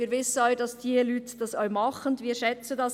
Wir wissen, dass diese Leute das auch tun und schätzen das.